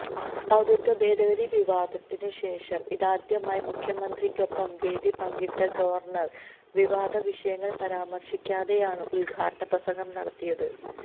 പൌരത്വഭേദഗതി വിവാദത്തിനു ശേഷം ഇതാദ്യമായി മുഖ്യമന്ത്രിക്കൊപ്പം വേദി പങ്കിട്ട ഗവർണർ വിവാദ വിഷയങ്ങൾ പരാമർശിക്കാതെയാണ് ഉദ്ഘാടനപ്രസംഗം നടത്തിയതും